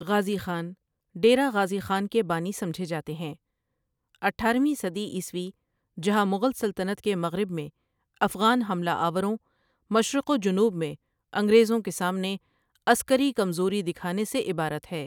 غازی خان ڈیرہ غازی خان کے بانی سمجھے جاتے ہیں اٹھارویں صدی عیسوی جہاں مغل سلطنت کے مغرب میں افغان حملہ آوروں مشرق و جنوب میں انگریزوں کے سامنے عسکری کمزوری دکھانے سے عبارت ہے۔